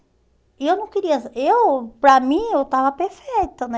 E eu não queria... Eu, para mim, eu estava perfeita, né?